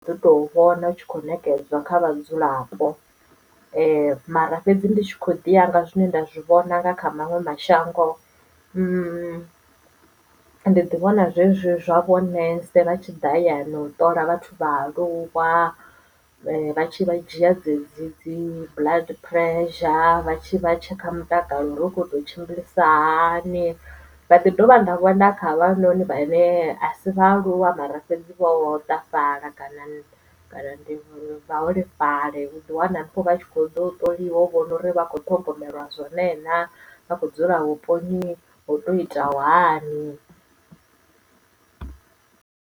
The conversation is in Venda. Ndi to vhona hu tshi kho nekedzwa kha vhadzulapo mara fhedzi ndi tshi kho ḓiya nga zwine nda zwi vhona nga kha maṅwe mashango ndi ḓi vhona zwezwi zwa vhonnesa vha tshi ḓa hayani u ṱola vhathu vhaaluwa vha vha tshi vha dzhia dzedzi dzi blood pressure vha tshi vha tshekha mutakalo uri u kho to tshimbilisa hani ndaḓi dovha nda vhona kha havha noni vhane a si vhaaluwa mara fhedzi vho hoṱafhala kana kana ndi vhaholefhali u ḓi wana vha tshi khoḓo ṱoliwa u vhona uri vha kho ṱhogomelwa zwone na vhakho dzula vhuponi hoto itaho hani.